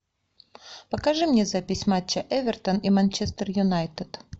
покажи мне запись матча эвертон и манчестер юнайтед